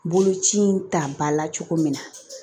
Boloci in ta ba la cogo min na